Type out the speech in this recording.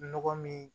Nɔgɔ min